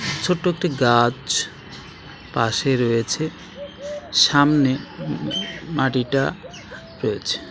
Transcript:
ছোট একটি গাছ পাশে রয়েছে সামনে মাটিটা রয়েছে.